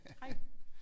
Hej